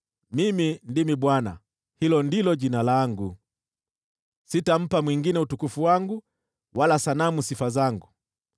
“Mimi ndimi Bwana ; hilo ndilo Jina langu! Sitampa mwingine utukufu wangu wala sanamu sifa zangu.